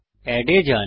add এ যান